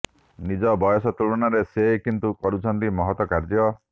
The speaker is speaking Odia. ନିଜର ବୟସ ତୁଳନାରେ ସେ କିନ୍ତୁ କରୁଛନ୍ତି ମହତ କାର୍ଯ୍ୟ